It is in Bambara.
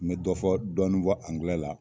N be dɔ fɔ dɔni fɔ angilɛ la